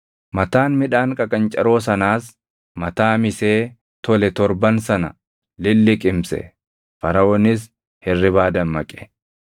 Mataan midhaan qaqancaroo sanaas mataa misee tole torban sana lilliqimse; Faraʼoonis hirribaa dammaqe; kunoo wanni sunis abjuu ture.